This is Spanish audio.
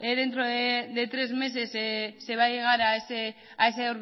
dentro de tres meses se va a llegar a ese